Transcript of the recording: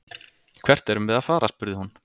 Hvert erum við að fara, spurði hún.